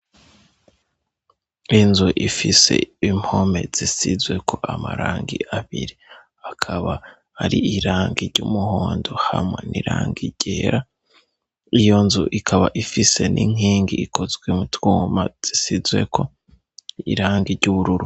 Inzu ifise impome zisizweko amarangi abiri akaba ari iranga ry'umuhondo hamwe niranga irera iyo nzu ikaba ifise n'inkingi ikozwe mutwoma zisizweko irangi iry'ubururu.